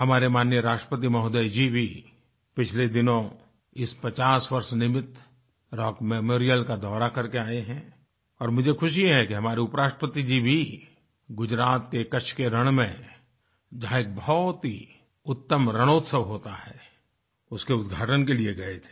हमारे माननीय राष्ट्रपति महोदय जी भी पिछले दिनों इस पचास वर्ष निर्मित रॉक मेमोरियल का दौरा करके आए हैं और मुझे खुशी है कि हमारे उपराष्ट्रपति जी भी गुजरात के कच्छ के रण में जहाँ एक बहुत ही उत्तमरणोत्सवहोता है उसके उद्घाटन के लिए गए थे